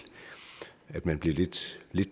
at man bliver lidt